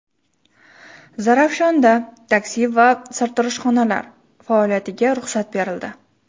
Zarafshonda taksi va sartaroshxonalar faoliyatiga ruxsat berildi.